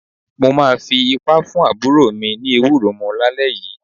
Mo máa fi ipá fún àbúrò mi ní ewúro mu lálẹ́ yìí.